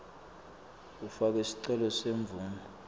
ufake sicelo semvumo